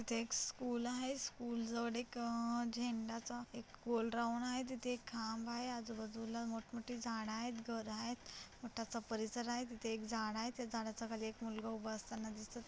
इथे एक स्कूल आहे स्कूल जवळ एक अ झेंडाचा एक गोल राऊंड आहे तिथे एक खांब आहे आजूबाजूला मोठ मोठी झाड आहेत घर आहेत मोठासा परिसर आहे तिथे एक झाड आहे त्या झाडाच्या खाली एक मुलगा उभा असताना दिसत.